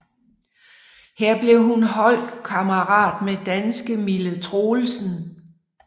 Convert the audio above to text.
Her blev hun holdkammerat med danske Mille Troelsen